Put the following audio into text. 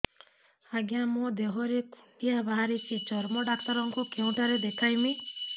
ଆଜ୍ଞା ମୋ ଦେହ ରେ କୁଣ୍ଡିଆ ବାହାରିଛି ଚର୍ମ ଡାକ୍ତର ଙ୍କୁ କେଉଁଠି ଦେଖେଇମି